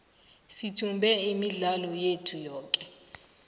sithumbe imidlalo yethu yoke